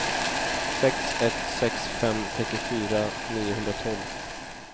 sex ett sex fem trettiofyra niohundratolv